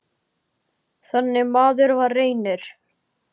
Þannig maður var Reynir.